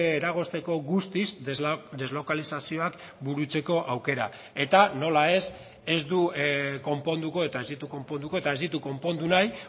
eragozteko guztiz deslokalizazioak burutzeko aukera eta nola ez ez du konponduko eta ez ditu konponduko eta ez ditu konpondu nahi